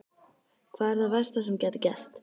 Hvað er það versta sem gæti gerst?